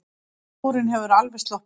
Skúrinn hefur alveg sloppið?